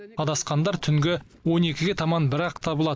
адасқандар түнгі он екіге таман бірақ табылады